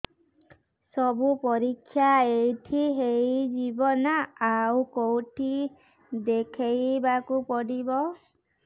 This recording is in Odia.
ସବୁ ପରୀକ୍ଷା ଏଇଠି ହେଇଯିବ ନା ଆଉ କଉଠି ଦେଖେଇ ବାକୁ ପଡ଼ିବ